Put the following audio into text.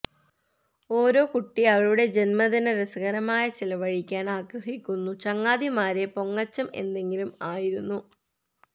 ഓരോ കുട്ടി അവളുടെ ജന്മദിന രസകരമായ ചെലവഴിക്കാൻ ആഗ്രഹിക്കുന്നു ചങ്ങാതിമാരെ പൊങ്ങച്ചം എന്തെങ്കിലും ആയിരുന്നു